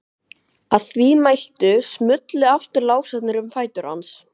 Að því mæltu smullu aftur lásarnir um fætur hans.